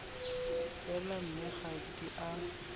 fela mme ga di a